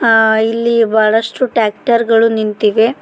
ಆ ಇಲ್ಲಿ ಬಹಳಷ್ಟು ಟ್ರಾಕ್ಟರ್ ಗಳು ನಿಂತಿವೆ.